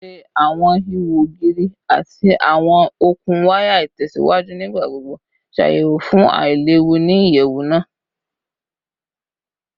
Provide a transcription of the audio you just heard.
Ṣe awọn iho ogiri ati awọn okun waya itẹsiwaju nigbagbogbo ṣayẹwo fun ailewu ni iyẹwu naa?